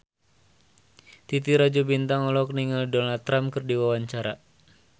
Titi Rajo Bintang olohok ningali Donald Trump keur diwawancara